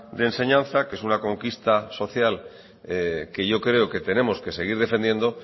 de enseñanza que es una conquista social que yo creo que tenemos que seguir defendiendo